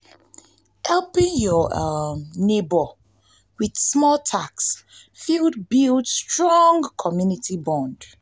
helping yur um neibor with small tasks fit um build strong community bond.